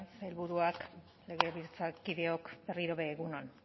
sailburuak legebiltzarkideok berriro ere egun on